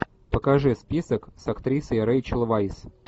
покажи список с актрисой рэйчел вайс